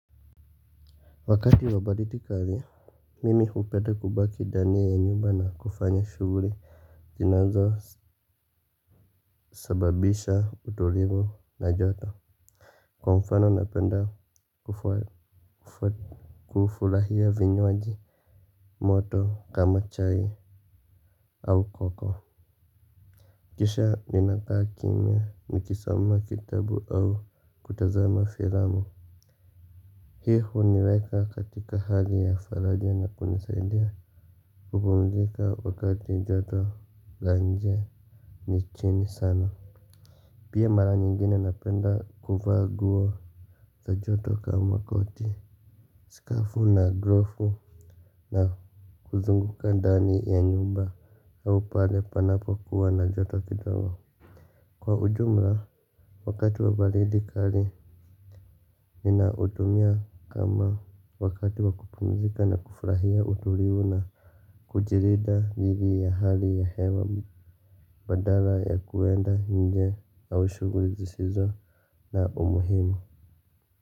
Wakati wa baridi kali Mimi hupenda kubaki ndani ya nyumba na kufanya shuguli zinazo sababisha utulivu na joto. Kwa mfano napenda kufurahia vinywaji moto kama chai au koko. Kisha ninakaa kimya nikisoma kitabu au kutazama filamu. Hii huniweka katika hali ya faraja na kunisaidia kupumzika wakati joto la nje ni chini sana. Pia mara nyingine napenda kuvaa nguo za joto kama koti skafu na grofu na kuzunguka dani ya nyumba au pale panapo kuwa na joto kidogo. Kwa ujumla wakati wa baridi kali nina utumia kama wakati wa kupumzika na kufurahia utulivu na kujirida thidi ya hali ya hewa. Badala ya kuenda nje au shuguli zisizo na umuhimu.